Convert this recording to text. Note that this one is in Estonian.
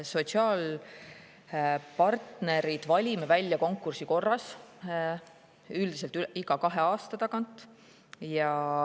Sotsiaalpartnerid valime välja konkursi korras, üldiselt iga kahe aasta tagant.